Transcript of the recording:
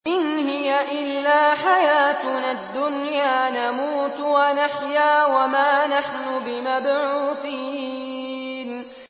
إِنْ هِيَ إِلَّا حَيَاتُنَا الدُّنْيَا نَمُوتُ وَنَحْيَا وَمَا نَحْنُ بِمَبْعُوثِينَ